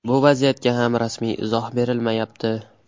Bu vaziyatga ham rasmiy izoh berilmayapti.